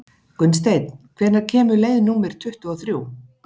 Gunnsteinn, hvenær kemur leið númer tuttugu og þrjú?